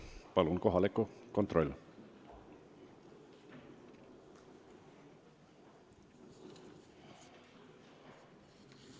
Palun, kohaloleku kontroll!